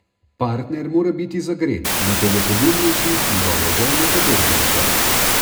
Partner mora biti zagret, nato bo pogumnejši, njegove želje pa drznejše.